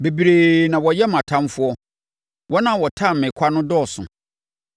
Bebree na wɔyɛ mʼatamfoɔ; wɔn a wɔtane me kwa no dɔɔso.